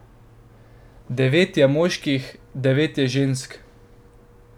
Devet je moških, devet je žensk.